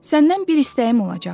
Səndən bir istəyim olacaq.